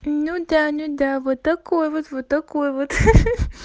ну да нет да вот такой вот вот такой вот ха-ха